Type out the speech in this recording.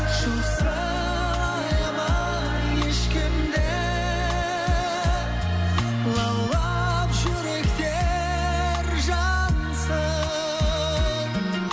жоқсалаяма ешкімді лаулап жүректер жансын